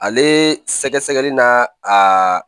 Ale sɛgɛsɛgɛli n'a a